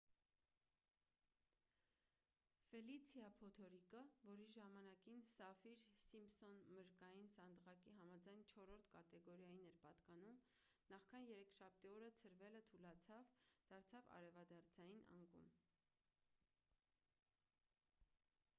ֆելիցիա փոթորիկը որ իր ժամանակին սաֆիր-սիմփսոն մրրկային սանդղակի համաձայն 4-րդ կատեգորիային էր պատկանում նախքան երեքշաբթի օրը ցրվելը թուլացավ դարձավ արևադարձային անկում